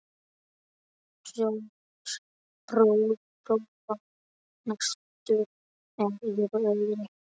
Georg bróðir var næstur mér í röðinni.